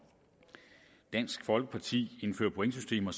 og dansk folkeparti indfører pointsystemer